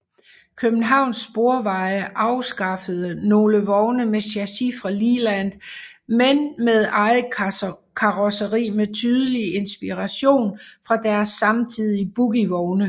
Københavns Sporveje anskaffede nogle vogne med chassis fra Leyland men med eget karosseri med tydelig inspiration fra deres samtidige bogievogne